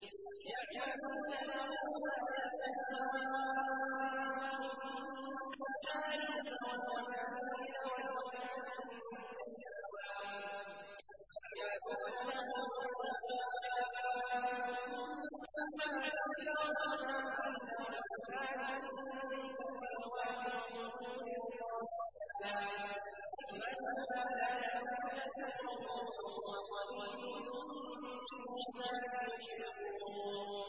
يَعْمَلُونَ لَهُ مَا يَشَاءُ مِن مَّحَارِيبَ وَتَمَاثِيلَ وَجِفَانٍ كَالْجَوَابِ وَقُدُورٍ رَّاسِيَاتٍ ۚ اعْمَلُوا آلَ دَاوُودَ شُكْرًا ۚ وَقَلِيلٌ مِّنْ عِبَادِيَ الشَّكُورُ